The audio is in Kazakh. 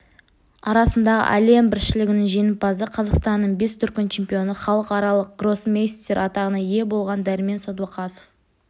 арасындағы әлем біріншілігінің жеңімпазы қазақстанның бес дүркін чемпионы халықаралық гроссмейстер атағына ие болған дәрмен сәдуақасов